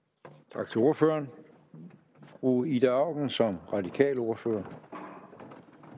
tak til ordføreren fru ida auken som radikal ordfører